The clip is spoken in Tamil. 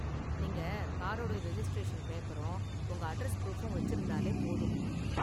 நீங்க காரோட ரெஜிஸ்டிரேசன் பேப்பரும் உங்க அட்ரஸ் புரூஃபும் வச்சிருந்தாலே போதும்.